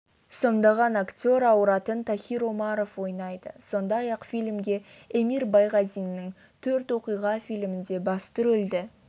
сомдаған актер ауыратын тахир омаров ойнайды сондай-ақ фильмге эмир байғазиннің төрт оқиға фильмінде басты рөлді